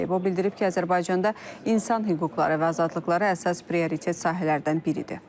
O bildirib ki, Azərbaycanda insan hüquqları və azadlıqları əsas prioritet sahələrdən biridir.